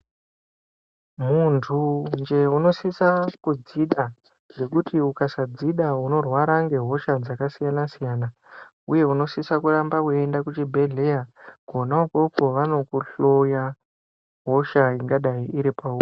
Muntunje unosisa kudzida ngekuti ukasadzida unorwara ngehosha dzakasiyana siyana uye unosisa kuramba weiende kuchibhedhleya kona ikoko vanokuhloya hosha ingadai iri pauri.